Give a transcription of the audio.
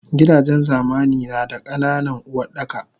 Gidajen zamani nada ka nanan Uwardaka